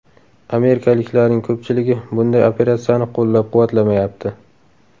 Amerikaliklarning ko‘pchiligi bunday operatsiyani qo‘llab-quvvatlamayapti.